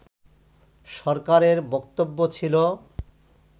সরকারের বক্তব্য ছিল